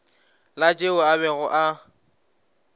la tšeo a bego a